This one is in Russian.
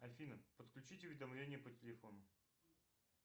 афина подключить уведомление по телефону